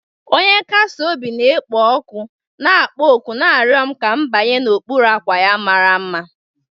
Onye nkasi obi na-ekpo ọkụ, na-akpọ òkù na-arịọ m ka m banye n'okpuru ọkwa ya mara mma.